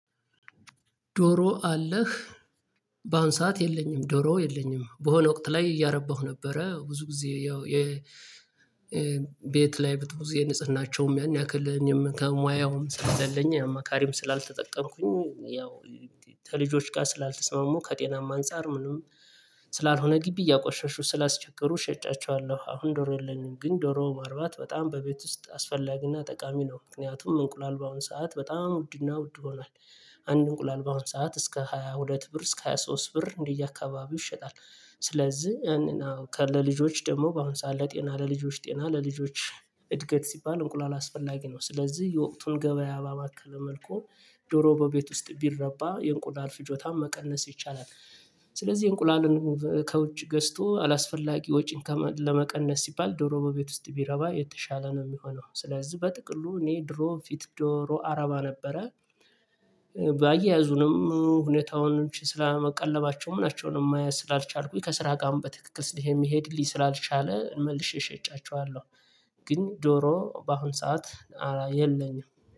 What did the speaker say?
ዶሮ አለ? በአሁን ሰዓት የለኝም ዶሮ የለኝም በሆነ ወቅት ላይ እያረባሁ ነበረ ብዙ ጊዜ ያው የ ቤት ላይ ብዙ ጊዜ ንጽህናቸውም ያን ያክል ከሙያውም ስለሌለኝ አማካሪም ስላልተጠቀምኩኝ ያው ከልጆች ጋር ስላልተስማሙ ከጤናማ አንፃር ምንም ስላልሆነ ግቢ እያቆሸሹ ስላስቸገሩ ሸጫቸዋለሁ አሁን ዶሮ የለኝም ግን ዶሮ ማርባት በጣም በቤት ውስጥ አስፈላጊና ጠቃሚ ነው ምክንያቱም እንቁላል በአሁን ሰዓት በጣም ውድና ውድ ሆኗል። አንድ እንቁላል በአሁን ሰዓት እስከ ሃያ ሁለት ብር እስከ ሃያ ሶስት ብር እንዲህ አካባቢ ይሸጣል፤ ስለዚህ ያንን አዎ ከለልጆች ደግሞ በአሁን ሰዓት ለ ጤና ለልጆች ጤና ለልጆች እድገት ሲባል እንቁላል አስፈላጊ ነው ስለዚህ የወቅቱን ገበያ ባመከለ መልኩ ዶሮ በቤት ውስጥ ቢረባ የእንቁላል ፍጆታም መቀነስ ይቻላል ስለዚህ እንቁላልን ከውጭ ገዝቶ አላስፈላጊ ወጪን ከመ ለመቀነስ ሲባል ዶሮ በቤት ውስጥ ቢረባ የተሻለ ነው የሚሆነው ስለዚህ በጥቅሉ እኔ ድሮ ፊት ዶሮ አረባ ነበረ ባያዙንም ሁኔታውን ስለመቀለባቸው ምናቸውንም ማየት ስላልቻልኩኝ ከስራ ጋርም በትክክል ስል የሚሄድልኝ ስላልቻለ መልሼ ሸጫቸዋለሁ። ግን ዶሮ በአሁን ሰዓት የለኝም።